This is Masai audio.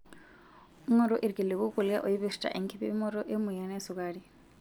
Ngoru ilkiliku kulie oipirta enkipimoto emoyian esukari.